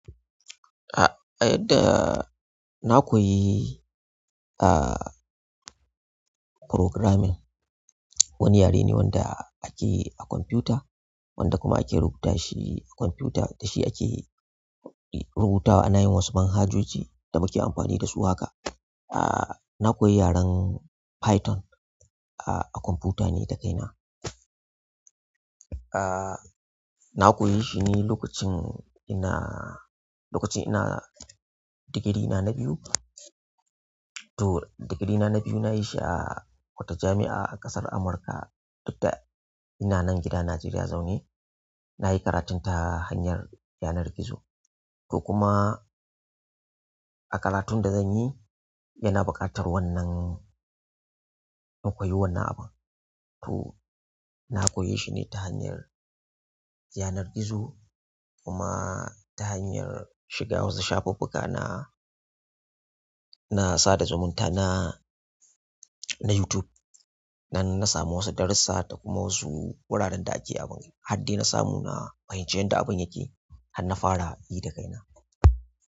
A yadda na koyi, ah, programming wani yare ne wanda ake a kwamfuta, wanda kuma ake rubuta shi a kwamfuta, da shi ake rubutawa ana yin wasu manhajoji da muke amfani da su haka. Ah, na koyi yaren Python, ah, a kwamfuta ne da kaina. Ah, na koyi shi ne lokacin ina, lokacin ina digiri na, na biyu. To digiri na biyu na yi shi a wata jami'a ƙasar Amurka duk da ina nan gida Najeriya zaune. Na yi karatun ta hanyar yanar gizo, ko kuma karatun da zan yi, yana buƙatar wannan na koyi wannan abu. To, na koye shi ne ta hanyar yanar gizo kuma ta hanyar shiga wasu shafuffuka na, na sada zumunta na, na YouTube. Nan na samu wasu darussa da kuma wasu wuraren da ake abun. Hadai da na samu na fahimci yadda abun yake, har na fara yi da kaina.